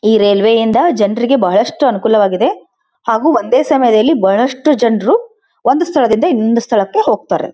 ಈ ರೈಲ್ವೆಯಿಂದ ಜನರಿಗೆ ಬಹಳಷ್ಟು ಅನುಕೂಲವಾಗಿದೆ ಹಾಗು ಒಂದೇ ಸಮಯದಲ್ಲಿ ಬಹಳಷ್ಟು ಜನರು ಒಂದು ಸ್ಥಳದಿಂದ ಇನೊಂದು ಸ್ಥಳಕ್ಕೆ ಹೋಗತಾರೆ.